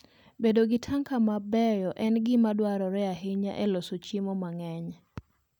Bedo gi tanka mabeyo en gima dwarore ahinya e loso chiemo mang'eny.